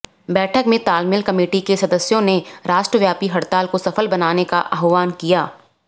बैठक में तालमेल कमेटी के सदस्यों ने राष्ट्रव्यापी हड़ताल को सफल बनाने का आव्हान किया